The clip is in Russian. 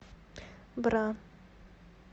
бра